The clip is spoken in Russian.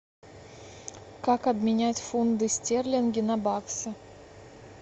как обменять фунты стерлинги на баксы